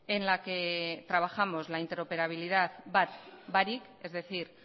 en la que trabajamos la interoperabilidad bat barik es decir